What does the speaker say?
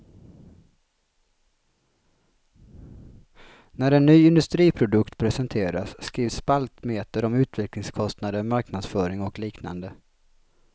När en ny industriprodukt, presenteras skrivs spaltmeter om utvecklingskostnader, marknadsföring och liknande.